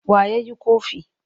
Wa ya yi ƙofi?